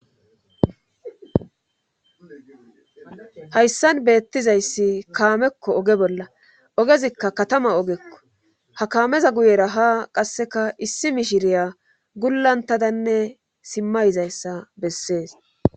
Hayssan beettizayssi kaamekko oge bolla ogezikka katama ogekko ha kaameza guyera ha qasseka issi mishiriya gullantadanne simmayizayssa bessees.